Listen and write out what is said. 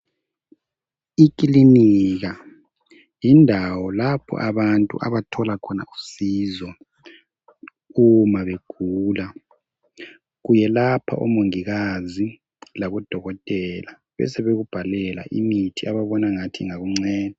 Ikilinika, yindawo lapho abantu abathola khona usizo uma begula kuyelapha omongikazi labodokotela besebekubhalela imithi ababona angathi ingakunceda.